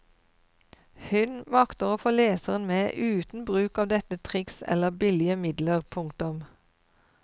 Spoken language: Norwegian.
Hun makter å få leseren med uten bruk av lette triks eller billige midler. punktum